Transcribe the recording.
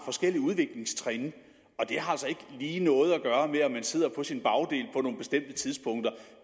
forskellige udviklingstrin og det har altså ikke lige noget at gøre med om man sidder på sin bagdel på nogle bestemte tidspunkter